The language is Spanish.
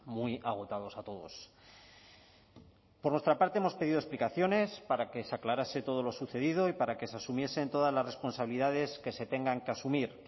muy agotados a todos por nuestra parte hemos pedido explicaciones para que se aclarase todo lo sucedido y para que se asumiesen todas las responsabilidades que se tengan que asumir